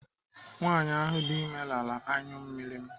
Nwaanyị ahụ dị ime rara anyụmmiri m.